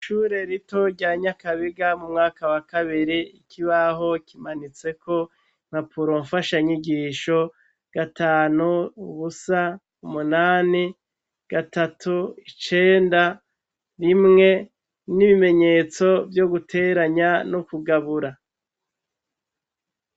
Ishure rito rya Nyakabiga mu mwaka wa kabiri, ikibaho kimanitseko impapuro mfashanyigisho: gatanu, ubusa, umunani, gatatu, icenda, rimwe, n'ibimenyetso vyo guteranya no kugabura.